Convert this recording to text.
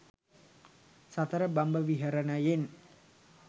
සතර බඹ විහරණයෙන්